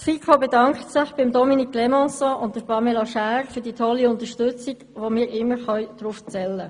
Die FiKo bedankt sich im Übrigen bei Dominique Clémençon und Pamela Schär für die tolle Unterstützung, auf die wir immer zählen konnten.